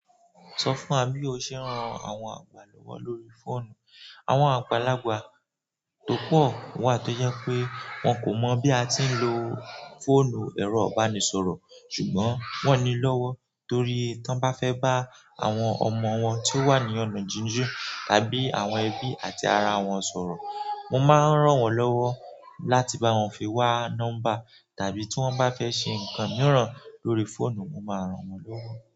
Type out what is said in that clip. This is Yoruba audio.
Sọ fún wa bí o ṣe ń ran àwọn àgbà lọ́wọ́ lórí fóònù. Àwọn àgbàlagbà tó pọ̀ wà tó yẹ pé wọn kò mọ̀ bí a ti ń lo fóònù ẹ̀rọ ìbánisọ̀rọ̀, ṣùgbọ́n wón ní lọ́wọ́ torí tí wọ́n bá fẹ́ bá àwọn ọmọ wọn tí ó wà ní ọ̀nà jíji tàbí àwọn ẹbí àti ara wọn sọ̀rọ̀, mo máa ń ràn wọ́n lọ́wọ́ láti bá wọn fi wá nọ́mbà tàbí tí wọ́n bá fẹ́ ṣe ǹkan mìíràn lórí fóònù, mo máa ràn wọ́n lọ́wọ́.